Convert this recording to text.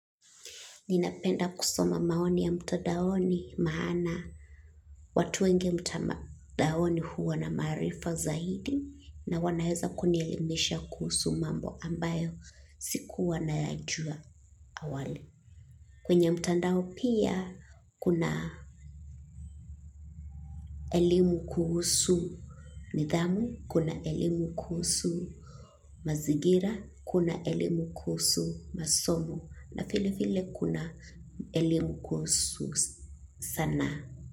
Ninapenda kusoma maoni ya mtadaoni maana watu wengi mtadaoni huwa na maarifa zaidi na wanaeza kunielimisha kuhusu mambo ambayo sikuwa nayajua awali. Kwenye mtandao pia kuna elimu kuhusu, nidhamu kuna elimu kuhusu, mazingira kuna elimu kuhusu, masomo na vile vile kuna elimu kuhusu sanaa.